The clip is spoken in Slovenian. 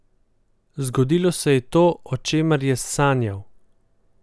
Zgodilo se je to, o čemer je sanjal.